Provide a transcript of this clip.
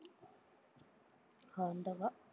ஆண்டவா